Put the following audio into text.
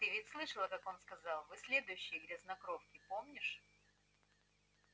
ты ведь слышала как он сказал вы следующие грязнокровки помнишь